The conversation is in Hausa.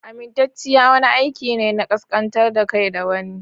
Amintacciya wani aiki ne na kaskantar da kai ga wani.